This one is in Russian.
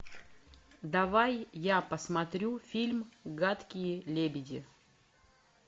давай я посмотрю фильм гадкие лебеди